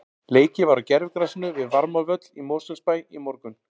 Leikið var á gervigrasinu við Varmárvöll í Mosfellsbæ í morgun.